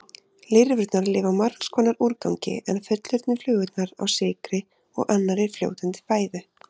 Lirfurnar lifa á margs konar úrgangi en fullorðnu flugurnar á sykri og annarri fljótandi fæðu.